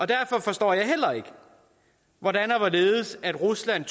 derfor forstår jeg heller ikke hvordan rusland